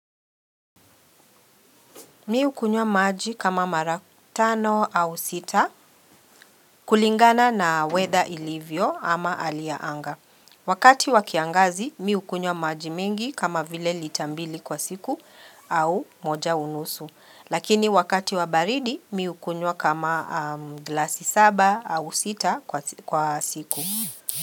Mimi hukunywa maji kama mara tano au sita kulingana na weather ilivyo ama aliaanga. Wakati wakiangazi, miukunyo maji mingi kama vile lita mbili kwa siku au moja unusu. Lakini wakati wabaridi, miukunywa kama glasi saba au sita kwa siku.